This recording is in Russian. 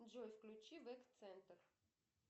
джой включи вэк центр